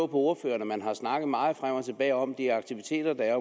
på ordføreren at man har snakket meget frem og tilbage om de aktiviteter der er